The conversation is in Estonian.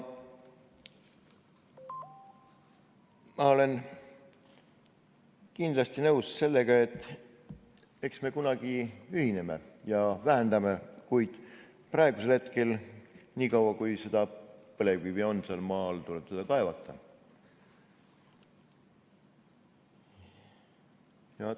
Ma olen kindlasti nõus sellega, et eks me kunagi ühineme ja vähendame, kuid praegusel hetkel, niikaua kui põlevkivi seal maa all on, tuleb seda kaevandada.